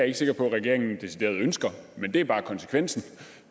ikke sikker på regeringen decideret ønsker men det er bare konsekvensen